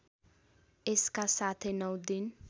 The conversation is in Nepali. यसका साथै नौ दिन